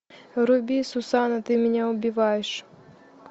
вруби сусанна ты меня убиваешь